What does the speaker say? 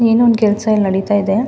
ಏನೋ ಒಂದ್ ಕೆಲಸ ಇಲ್ಲಿ ನಡೀತಾ ಇದೆ.